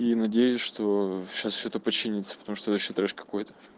и надеюсь что сейчас что-то починиться потому что вообще трэш какой-то